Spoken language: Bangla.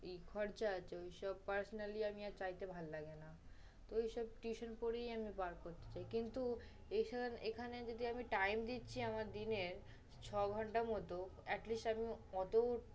এই খরচা আছে, ঐসব personally আমি আর চাইতে আর ভাল্লাগে না। ঐসব tuition করিই আমি পার করছি। কিন্তু এখান~ এখানে যদি আমি time দিচ্ছি আমার দিনের ছয় ঘন্টার মত, at least আমি ওতো